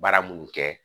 Baara munnu kɛ